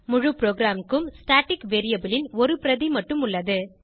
முழு ப்ரோகிராமுக்கும் static variable ன் ஒரு பிரதி மட்டும் உள்ளது